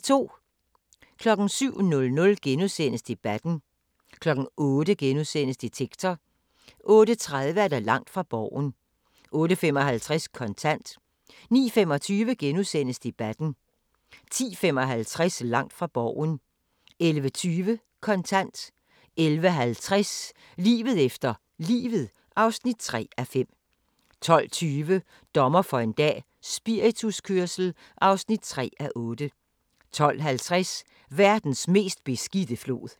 07:00: Debatten * 08:00: Detektor * 08:30: Langt fra Borgen 08:55: Kontant 09:25: Debatten * 10:55: Langt fra Borgen 11:20: Kontant 11:50: Livet efter livet (3:5) 12:20: Dommer for en dag - spirituskørsel (3:8) 12:50: Verdens mest beskidte flod